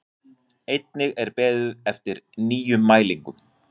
Einnig er beðið eftir nýjum mælingum